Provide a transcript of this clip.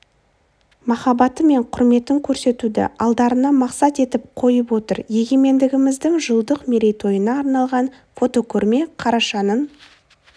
махаббаты мен құрметін көрсетуді алдарына мақсат етіп қойып отыр егемендігіміздің жылдық мерейтойына арналған фотокөрме қарашаның